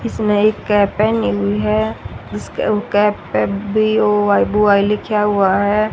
इसने एक कैप पहनी हुई है उस पे वो कैप पे बी_ओ_वाई बॉय लिखा हुआ है।